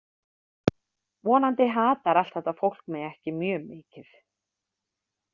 Vonandi hatar allt þetta fólk mig ekki mjög mikið.